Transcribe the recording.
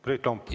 Priit Lomp, jah.